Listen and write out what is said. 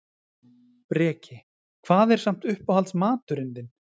Breki: Hvað er samt uppáhalds maturinn þinn?